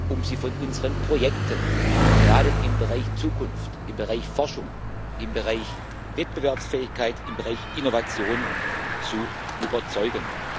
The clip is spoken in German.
um Sie von unseren Projekten gerade im Bereich Zukunft, im Bereich Forschung, im Bereich Wettbewerbsfähigkeit, im Bereich Innovation zu überzeugen.